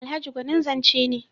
Alhaji gwanin zance ne.